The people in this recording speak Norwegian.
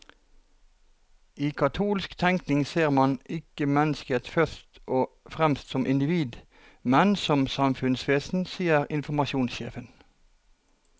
I katolsk tenkning ser man ikke mennesket først og fremst som individ, men som samfunnsvesen, sier informasjonssjefen.